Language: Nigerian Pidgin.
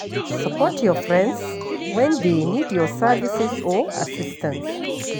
Support your friends when dey need your services or assistance